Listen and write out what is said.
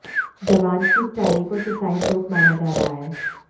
जवान की इस डायरी को सुसाइड नोट माना जा रहा है